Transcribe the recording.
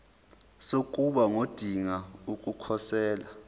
sokuba ngodinga ukukhosela